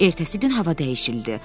Ertəsi gün hava dəyişildi.